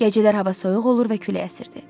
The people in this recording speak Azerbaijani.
Gecələr hava soyuq olur və külək asırdı.